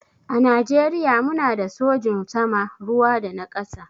A najeriya mu na da sojin sama, ruwa da na ƙasa.